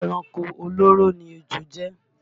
Ẹranko olóró ni ejò jẹ́